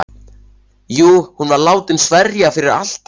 Jú, hún var látin sverja fyrir altari.